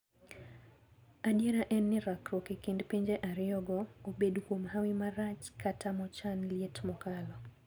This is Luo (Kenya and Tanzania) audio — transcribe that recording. Adiera en ni rakruok ekind pinje ariyogo- obed kwom hawi marach kata mochan liet mokalo.